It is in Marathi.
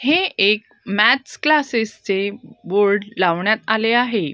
हे एक मॅथ्स क्लासेस चे बोर्ड लावण्यात आले आहे.